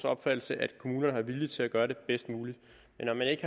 oplevelse at kommunerne har viljen til at gøre det bedst muligt